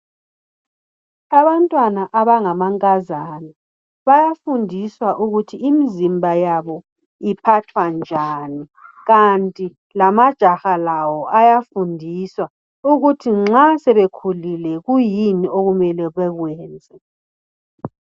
Abantwana abangamankazana bayafundiswa ukuthi imizimba yabo iphathwa njani kanti lamajaha lawo ayafundiswa ukuthi nxa sebekhulile kiyini okumele bekwenze.